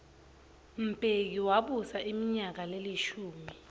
mbeki wabusa iminyaka lelishumi